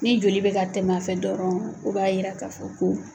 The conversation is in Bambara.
Ni joli bɛ ka tɛm'a fɛ dɔrɔn o b'a yira ka fɔ ko